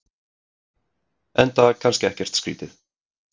Enda kannski ekkert skrítið.